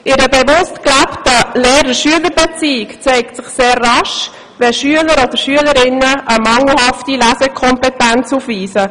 In einer bewusst gelebten Lehrer-Schüler-Beziehung zeigt sich sehr rasch, wenn Schülerinnen oder Schüler eine mangelhafte Lesekompetenz aufweisen.